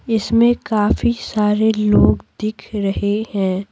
इसमें काफी सारे लोग दिख रहे हैं।